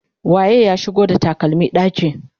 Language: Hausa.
waye ya shigo da takalmi ɗaki?